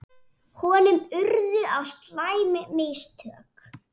Honum urðu á slæm mistök.